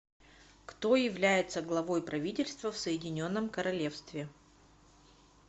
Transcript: кто является главой правительства в соединенном королевстве